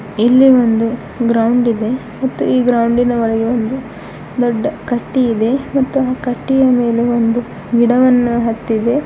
ಇಲ್ಲಿ ಒಂದು ಗ್ರೌಂಡ್ ಇದೆ ಮತ್ತು ಈ ಗ್ರೌಂಡಿನ ಒಳಗೆ ಒಂದು ದೊಡ್ಡ ಕಟ್ಟಿಯಿದೆ ಮತ್ತು ಆ ಕಟ್ಟಿಯ ಮೇಲೆ ಒಂದು ಗಿಡವನ್ನು ಹತ್ತಿದೆ.